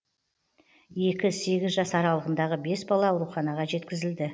екі сегіз жас аралығындағы бес бала ауруханаға жеткізілді